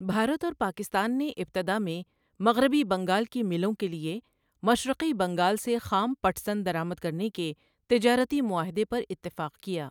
بھارت اور پاکستان نے ابتداء میں مغربی بنگال کی ملوں کے لیے مشرقی بنگال سے خام پٹ سن درآمد کرنے کے تجارتی معاہدے پر اتفاق کیا۔